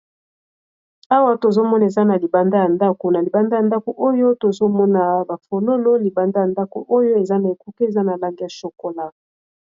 Awa tozomona eza na libanda ya ndako na libanda ya ndako oyo tozomona bafonono libanda ya ndako oyo eza na ekuke eza na lange ya chocolat.